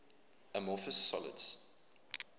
amorphous solids